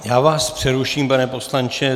Já vás přeruším, pane poslanče.